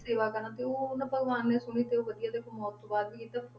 ਸੇਵਾ ਕਰਨ ਤੇ ਉਹ ਉਹ ਨਾ ਭਗਵਾਨ ਨੇ ਸੁਣੀ ਤੇ ਉਹ ਵਧੀਆ ਦੇਖੋ ਮੌਤ ਤੋਂ ਬਾਅਦ ਵੀ